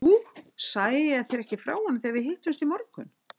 Jú, sagði ég þér ekki frá honum þegar við hittumst í morgun?